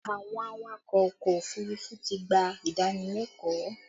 Àwọn awakọ̀ ọkọ òfurufú ti gbà ìdánilẹ́kọ̀ọ́